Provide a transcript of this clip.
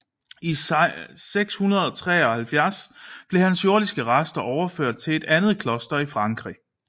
I 673 blev hans jordiske rester overført til et andet kloster i Frankrig